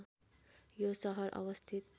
यो सहर अवस्थित